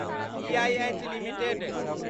EIH limited